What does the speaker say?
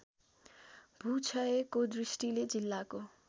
भूक्षयको दृष्टिले जिल्लाको